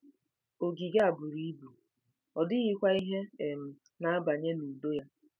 Ogige a buru ibu, ọ dịghịkwa ihe um na-abanye n'udo ya.